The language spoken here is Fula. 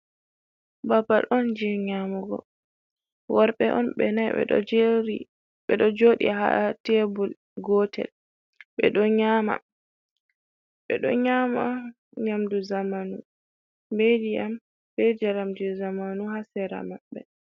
Babal on je nyamugo worbe on be 4 ,be do jodi ha tebul gotel bedo nyama nyamdu zamanu bediyam bejaramju zamanu ha sera mabbe.